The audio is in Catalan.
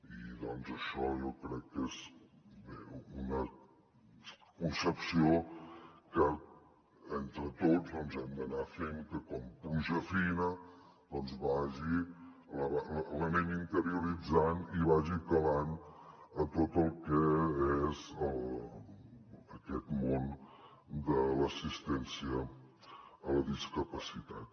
i això jo crec que és una concepció que entre tots hem d’anar fent que com pluja fina l’anem interioritzant i vagi calant en tot el que és aquest món de l’assistència a la discapacitat